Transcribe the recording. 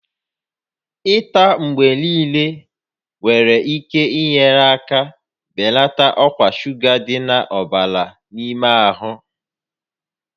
Ịta mgbe niile nwere ike inye aka belata ọkwa shuga dị n'ọbara n'ime ahụ